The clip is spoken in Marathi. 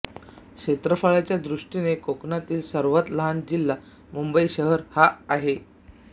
क्षेत्रफळाच्या दृष्टीने कोकणातील सर्वात लहान जिल्हा मुंबई शहर हा आहे